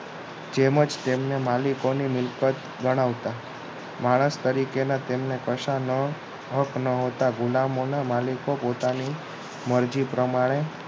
જેમ જ તેમને માલિકોની મિલકત ગણાવતા હતા માણસ તરીકે તેમના કશા ન હક ન હતા ગુલામોના માલિકો પોતાના ની મરજી પ્રમાણે